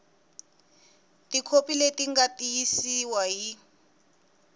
tikhopi leti nga tiyisiwa hi